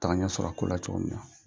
Taga ɲɛ sɔrɔ a kola cogo min na